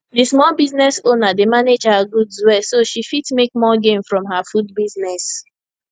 the small business owner dey manage her goods well so she fit make more gain from her food business